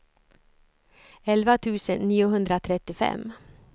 elva tusen niohundratrettiofem